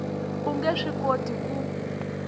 u nge swi koti ku